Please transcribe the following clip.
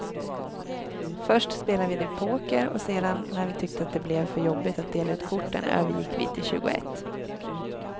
Först spelade vi poker, sedan när vi tyckte att det blev för jobbigt att dela ut korten övergick vi till tjugoett.